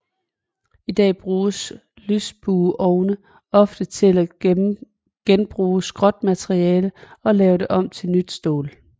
I dag bruges lysbueovne ofte til at genbruge skrotmetal og lave det om til nyt stål